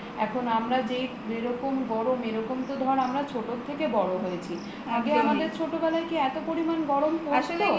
এখন আমরা যে এরকম গরম এরকম তো ধর আমরা ছোট থেকে বড় হয়েছি আগে আমাদের ছোটবেলাতে কি এত পরিমান গরম পরত